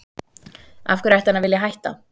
Af hverju ætti hann að vilja hætta?